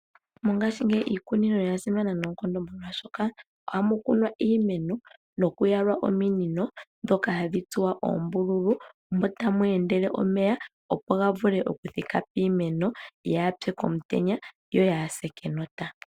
Mongaashingeyi iikunino oya simana noonkondo molwaashoka ohamu kunwa iimeno nokuyalwa ominino ndhoka hadhi tsuwa oombululu, mo tamu endele omeya, opo ga vule okuthika piimeno, ya apye komutenya, yo ya ase kenota.